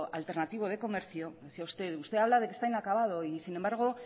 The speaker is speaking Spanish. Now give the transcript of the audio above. alternativo de comercio decía usted usted habla de que está inacabado y sin embargo